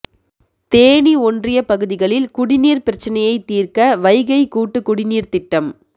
தேனி ஒன்றிய பகுதிகளில் குடிநீர் பிரச்னையை தீர்க்க வைகை கூட்டு குடிநீர் திட்டம்